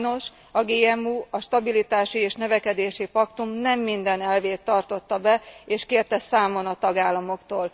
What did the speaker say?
Sajnos a GMU a stabilitási és növekedési paktum nem minden elvét tartotta be és kérte számon a tagállamoktól.